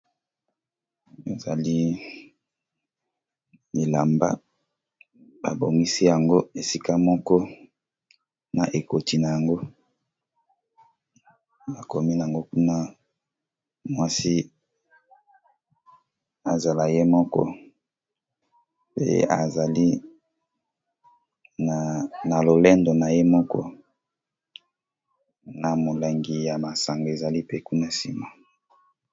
Ezali bilamba ba bongisi yango esika moko na ekoti na yango mwasi azala ye moko azali na lolendo ya yemoko na molangi ya masanga ezali kuna na sima.